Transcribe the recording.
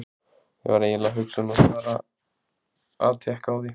Ég var eiginlega að hugsa um að fara að tékka á því.